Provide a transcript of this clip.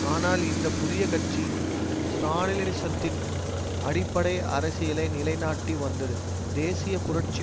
ஆனால் இந்த புதிய கட்சி ஸ்ராலினிசத்தின் அடிப்படை அரசியலை நிலைநாட்டி வந்தது தேசிய புரட்சி